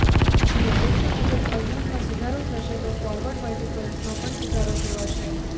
આપણી અપેક્ષા મુજબ અર્નિંગ્સમાં સુધારો થશે તો ફોરવર્ડ મલ્ટિપલ્સમાં પણ સુધારો જોવાશે